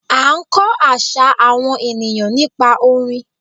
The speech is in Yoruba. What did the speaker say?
A n kó àṣà àwọn ènìyãn nípa orin